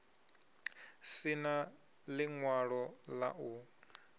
si na ḽiṅwalo ḽa u